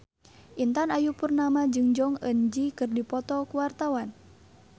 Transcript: Intan Ayu Purnama jeung Jong Eun Ji keur dipoto ku wartawan